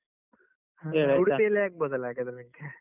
ಆಗ್ಬೋದಲ್ಲಾ ಹಾಗಾದ್ರೆ ನಿಂಗೆ.